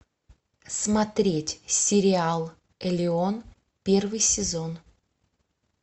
смотреть сериал элеон первый сезон